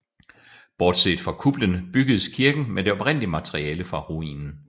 Bortset fra kuplen bygges kirken med det oprindelige materiale fra ruinen